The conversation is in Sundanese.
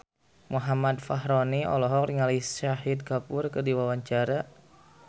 Muhammad Fachroni olohok ningali Shahid Kapoor keur diwawancara